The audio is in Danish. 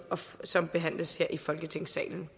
som behandles her i folketingssalen